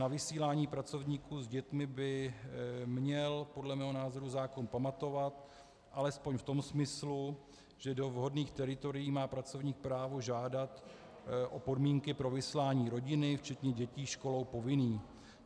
Na vysílání pracovníků s dětmi by měl podle mého názoru zákon pamatovat, alespoň v tom smyslu, že do vhodných teritorií má pracovník právo žádat o podmínky pro vyslání rodiny včetně dětí školou povinných.